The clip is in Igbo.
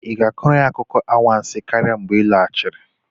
Ị ga-akọrọ anyị akụkọ anwansi karịa mgbe ị lọghachiri?